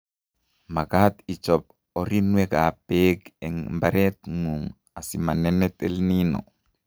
Makaat ichob orrinwekab beek eng imbaretng'ung asimanenet EL Nino